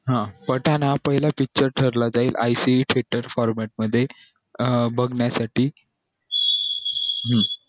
हा पठाण हा पहिला picture ठरला त्यानी मध्ये अं बागण्यासाठी हम्म